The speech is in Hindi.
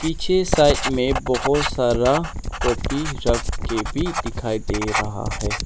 पीछे साइड में बहोत सारा कॉपी रख के भी दिखाई दे रहा है।